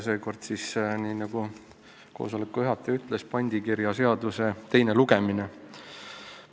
Seekord on, nagu koosoleku juhataja ütles, tegu pandikirjaseaduse teise lugemisega.